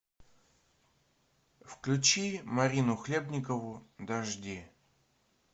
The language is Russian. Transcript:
включи марину хлебникову дожди